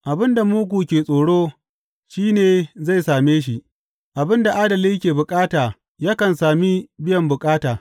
Abin da mugu ke tsoro shi ne zai same shi; abin da adali ke bukata yakan sami biyan bukata.